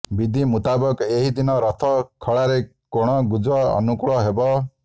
ବିଧି ମୁତାବକ ଏହି ଦିନ ରଥ ଖଳାରେ କୋଣ ଗୁଜ ଅନୁକୂଳ ହେବ